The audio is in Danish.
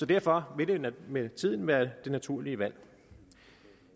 derfor vil det med tiden være det naturlige valg